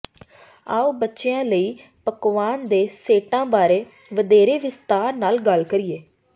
ਆਉ ਬੱਚਿਆਂ ਲਈ ਪਕਵਾਨ ਦੇ ਸੈਟਾਂ ਬਾਰੇ ਵਧੇਰੇ ਵਿਸਤਾਰ ਨਾਲ ਗੱਲ ਕਰੀਏ